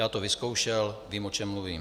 Já to vyzkoušel, vím, o čem mluvím.